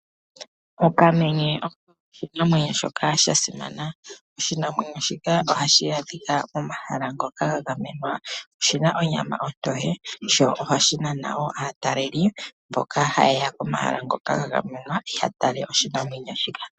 Okamenye oko oshinamwenyo nha simana. Oshinamwenyo shika ohashi adhika momahala ngoka ga gamenwa. Oshina onyama ontoye. Ohashi nana aataleli mboka ha yeya komahala ngoka ga gamenwa yeye ya tale oshinamwenyo shika.